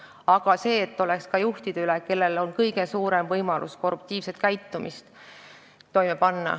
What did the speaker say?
Aga järelevalve peab olema ka juhtide üle, kellel on kõige suurem võimalus korruptiivselt käituda.